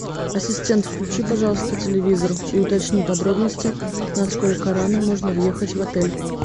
ассистент включи пожалуйста телевизор и уточни подробности насколько рано можно въехать в отель